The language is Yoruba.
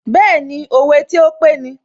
Bẹ́ẹ̀ni, òwe tí ó ti pé ni